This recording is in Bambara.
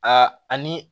Aa ani